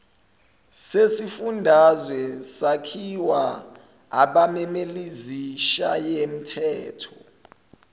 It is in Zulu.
sezifundazwe sakhiwa abameleizishayamthetho